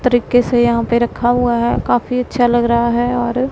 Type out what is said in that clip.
तरीके से यहां पे रखा हुआ हैं काफी अच्छा लग रहा हैं और--